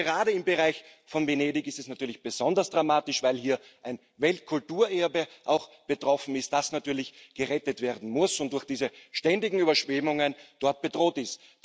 Aber gerade im Bereich von Venedig ist es natürlich besonders dramatisch, weil hier auch ein Weltkulturerbe betroffen ist, das natürlich gerettet werden muss und durch diese ständigen Überschwemmungen dort bedroht ist.